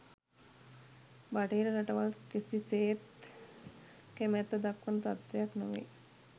බටහිර රටවල් කිසිසේත් කැමැත්ත දක්වන තත්ත්වයක් නොවේ